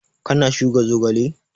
Ka na shuka zogale?